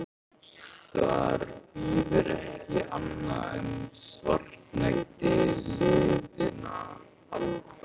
Þar bíður ekki annað en svartnætti liðinna alda.